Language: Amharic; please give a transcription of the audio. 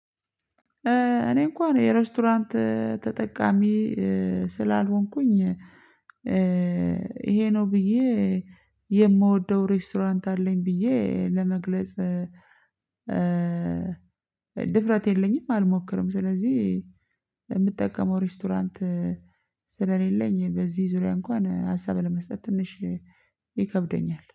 እኔ እንኳን የሬስቶራንት ተጠቃሚ ስላልሆንኩኝ። ይሄ ነው ብዬ የምወደው ሬስቶራንት አለኝ ብዬ ለመግለጽ። ድፍረት የለኝም አልሞክርም ስለዚህ የምጠቀመው ሬስቶራንት። ስለሌለኝ በዚህ ዙሪያ እንኳን ሀሳብ ለመስጠት ትንሽ ይከብደኛል